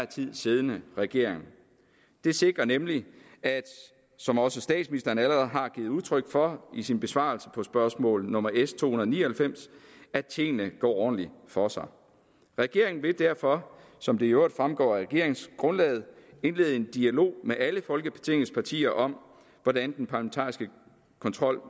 tid siddende regering det sikrer nemlig som også statsministeren allerede har givet udtryk for i sin besvarelse af spørgsmål nummer s to hundrede og ni og halvfems at tingene går ordentligt for sig regeringen vil derfor som det i øvrigt fremgår af regeringsgrundlaget indlede en dialog med alle folketingets partier om hvordan den parlamentariske kontrol